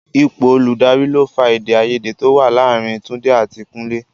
Ipò olùdarí ló fa èdè-áiyedé to wá láàárín Túndé àti Kúnlé.